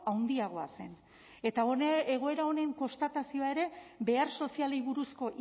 handiagoa zen eta egoera honen konstatazioa ere behar sozialei buruzko